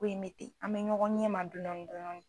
Ko in me ten, an mɛ ɲɔgɔn ɲɛmaa dɔɔnin, dɔɔnin